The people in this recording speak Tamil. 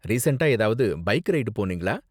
ரீசண்ட்டா ஏதாவது பைக் ரைடு போனீங்களா?